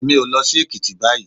Èmi ò lọ sí Èkìtì báyìí.